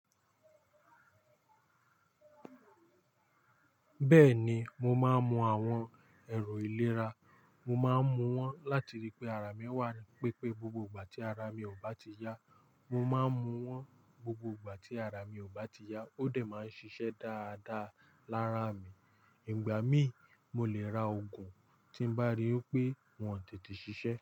Bẹ́ẹ̀ni, mo máa ń mu àwọn ẹro ìlera. Mo máa ń mu wọ́n láti rí i pé ara mí wà ni pé pé gbogbo ìgbà tí ara mi ò bá ti ya, mo máa ń mu wọ́n. Gbogbo ìgbà tí ara mi ò bá ti ya, ó de máa ń ṣiṣẹ́ dáadáa lára mi. Ìgbà míì, mo lè ra òògùn tí n bá rí i wipé wọ́n tètè ṣiṣẹ́.